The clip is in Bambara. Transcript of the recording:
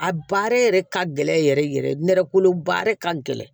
A baara yɛrɛ ka gɛlɛn yɛrɛ yɛrɛ yɛrɛ nɛrɛ kolo baara ka gɛlɛn